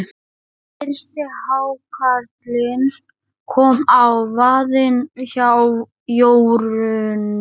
Fyrsti hákarlinn kom á vaðinn hjá Jórunni.